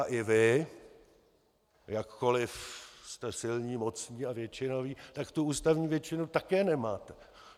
A i vy, jakkoliv jste silní, mocní a většinoví, tak tu ústavní většinu také nemáte.